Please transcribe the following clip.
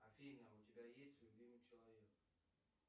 афина у тебя есть любимый человек